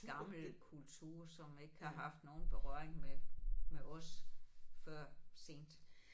Gammel kultur som ikke har haft nogen berøring med med os før sent